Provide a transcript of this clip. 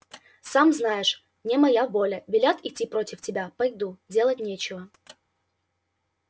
сам знаешь не моя воля велят идти против тебя пойду делать нечего